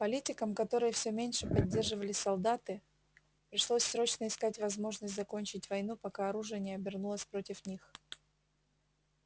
политикам которых все меньше поддерживали солдаты пришлось срочно искать возможность закончить войну пока оружие не обернулось против них